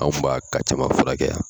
Anw b'a caman furakɛ yan!